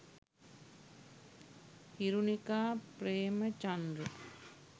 hirunika premachandra